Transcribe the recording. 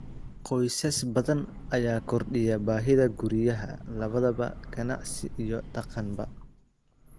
Qoysas badan ayaa kordhiya baahida guryaha, labadaba ganacsi iyo deegaanba.